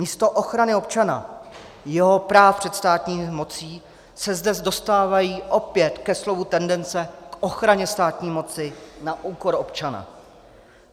Místo ochrany občana, jeho práv před státní mocí se zde dostávají opět ke slovu tendence k ochraně státní moci na úkor občana.